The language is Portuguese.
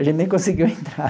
A gente nem conseguiu entrar.